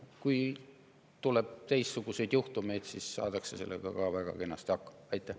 Kui tuleb teistsuguseid juhtumeid, siis saadakse sellega ka väga kenasti hakkama.